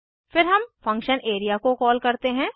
फिर हम function area को कॉल करते हैं